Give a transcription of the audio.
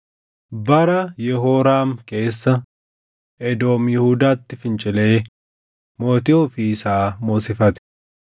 Bara Yehooraam keessa Edoom Yihuudaatti fincilee mootii ofii isaa moosifate.